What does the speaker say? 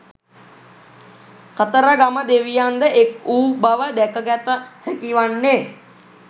කතරගම දෙවියන්ද එක් වූ බව දැකගත හැකිවන්නේ